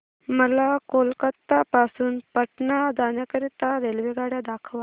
मला कोलकता पासून पटणा जाण्या करीता रेल्वेगाड्या दाखवा